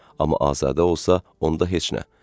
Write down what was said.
Amma Azadə olsa, onda heç nə.